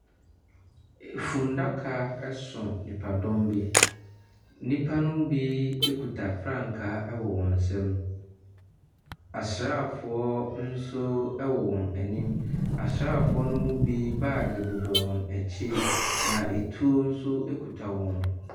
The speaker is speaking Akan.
Fundaka so nnipadɔm bi. Nnipa no bi kuta frankaa wɔ wɔn nsam. Asrafoɔ nso wɔ wɔn anim. Asrafoɔ no mu bi bag bɔ wɔn akyi na etuo nso kita wɔn.